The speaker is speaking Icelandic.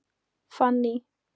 Fanný